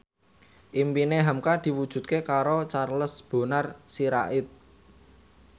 impine hamka diwujudke karo Charles Bonar Sirait